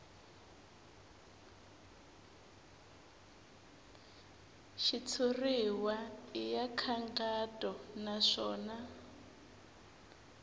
xitshuriwa i ya nkhaqato naswona